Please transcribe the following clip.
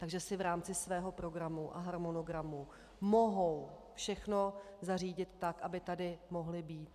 Takže si v rámci svého programu a harmonogramu mohou všechno zařídit tak, aby tady mohli být.